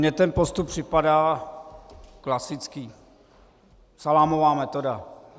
Mně ten postup připadá klasický, salámová metoda.